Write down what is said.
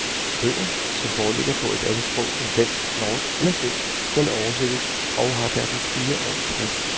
Bøger som foreligger på et andet sprog end dansk, norsk eller svensk skal oversættes og har derfor fire års frist.